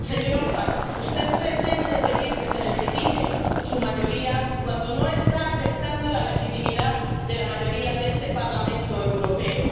Señor Orbán, usted pretende pedir que se legitime su mayoría cuando no está aceptando la legitimidad de la mayoría de este Parlamento Europeo.